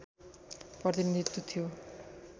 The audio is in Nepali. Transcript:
प्रतिनीधित्व थियो